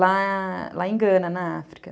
lá lá em Gana, na África.